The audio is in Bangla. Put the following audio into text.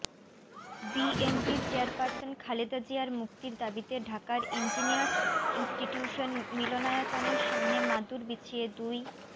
বিএনপি চেয়ারপারসন খালেদা জিয়ার মুক্তির দাবিতে ঢাকার ইঞ্জিনিয়ার্স ইন্সটিটিউশন মিলনায়তনের সামনে মাদুর বিছিয়ে দুই